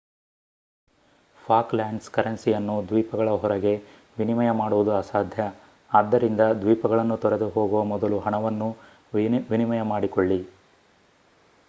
Falklands ಕರೆನ್ಸಿಯನ್ನು ದ್ವೀಪಗಳ ಹೊರಗೆ ವಿನಿಮಯ ಮಾಡುವುದು ಅಸಾಧ್ಯ ಆದ್ದರಿಂದ ದ್ವೀಪಗಳನ್ನು ತೊರೆದು ಹೋಗುವ ಮೊದಲು ಹಣವನ್ನು ವಿನಿಮಯ ಮಾಡಿಕೊಳ್ಳಿ